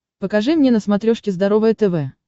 покажи мне на смотрешке здоровое тв